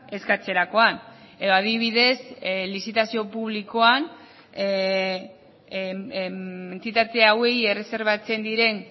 eskatzerakoan edo adibidez lizitazio publikoan entitate hauei erreserbatzen diren